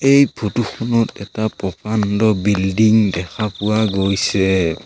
এই ফটো খনত এটা প্ৰকাণ্ড বিল্ডিং দেখা পোৱা গৈছে।